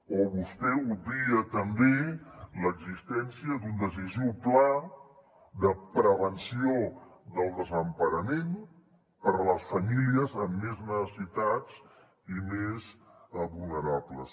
o vostè obvia també l’existència d’un decisiu pla de prevenció del desemparament per a les famílies amb més necessitats i més vulnerables